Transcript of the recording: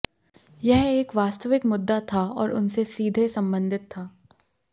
यह एक वास्तविक मुद्दा था और उनसे सीधे संबंधित था